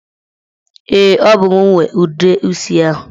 Ee, ọ bụ mụ nwe ude isi ahụ.